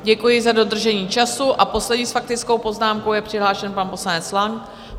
Děkuji za dodržení času a poslední s faktickou poznámkou je přihlášen pan poslanec Lang.